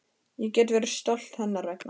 Ég get verið stolt hennar vegna.